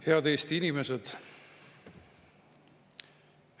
Head Eesti inimesed!